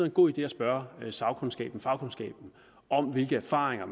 en god idé at spørge sagkundskaben fagkundskaben om hvilke erfaringer